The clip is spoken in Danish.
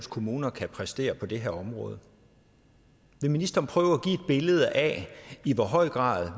kommuner kan præstere på det her område vil ministeren prøve billede af i hvor høj grad